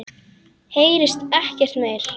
Heyrist ekkert meira.